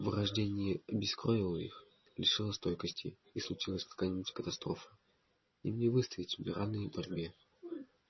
вырождение обескровило их лишило стойкости и случись какая-нибудь катастрофа им не выстоять в неравной борьбе